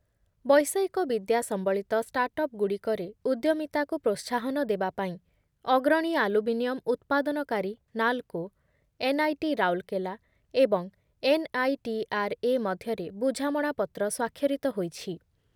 ବୈଷୟିକ ବିଦ୍ୟା ସମ୍ବଳିତ ଷ୍ଟାଟ୍‌ଅପ୍ ଗୁଡ଼ିକରେ ଉଦ୍ୟମିତାକୁ ପ୍ରୋତ୍ସାହନ ଦେବାପାଇଁ ଅଗ୍ରଣୀ ଆଲୁମିନିୟମ ଉତ୍ପାଦନକାରୀ ନାଲ୍‌କୋ, ଏନ୍‌ଆଇଟି ରାଉରକେଲା ଏବଂ ଏନ୍‌ଆଇଟିଆର୍‌ଏ ମଧ୍ୟରେ ବୁଝାମଣାପତ୍ର ସ୍ଵାକ୍ଷରିତ ହୋଇଛି